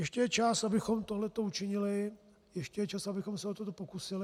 Ještě je čas, abychom tohleto učinili, ještě je čas, abychom se o to pokusili.